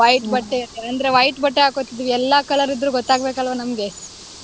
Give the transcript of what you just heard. white ಬಟ್ಟೆ ಅಂದ್ರೆ white ಬಟ್ಟೆ ಹಾಕೋತಿದ್ವಿ. ಎಲ್ಲಾ color ಇದ್ರೂ ಗೊತ್ತಾಗ್ಬೇಕಲ್ವಾ ನಮ್ಗೆ?